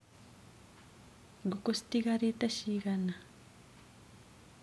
Ngũkũ citigarĩte cigana.